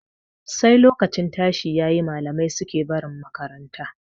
Sai lokacin tashi yayi malamai suke barin makaranta.